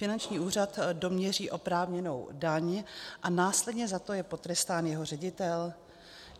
Finanční úřad doměří oprávněnou daň a následně za to je potrestán jeho ředitel?